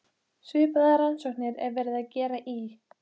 Svipaðar rannsóknir var verið að gera í